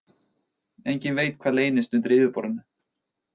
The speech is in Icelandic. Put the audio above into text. Enginn veit hvað leynist undir yfirborðinu